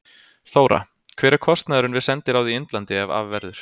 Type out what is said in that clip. Þóra: Hver er kostnaðurinn við sendiráð í Indlandi ef af verður?